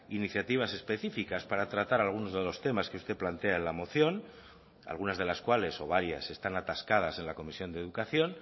iniciativas especificas para tratar algunos de los temas que usted plantea en la moción algunas de las cuales o varias están atascadas en la comisión de educación